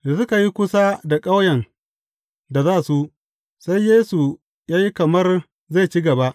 Da suka yi kusa da ƙauyen da za su, sai Yesu ya yi kamar zai ci gaba.